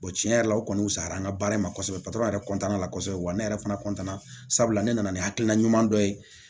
tiɲɛ yɛrɛ la o kɔni wusaya an ka baara in ma kosɛbɛ yɛrɛ la kɔsɔbɛ wa ne yɛrɛ fana sabula ne nana ni hakilina ɲuman dɔ ye